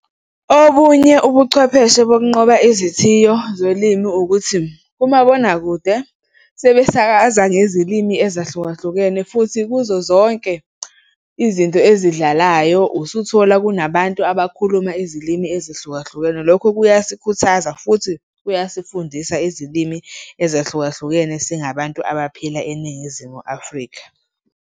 Obunye ubuchwepheshe bokunqoba izithiyo zolimi ukuthi umabonakude sebesakaza ngezilimi ezahlukahlukene futhi kuzo zonke izinto ezidlalayo usuthola kunabantu abakhuluma izilimi ezihlukahlukene. Lokho kuyasikhuthaza futhi kuyasifundisa izilimi ezahlukahlukene singabantu abaphila eNingizimu Afrika.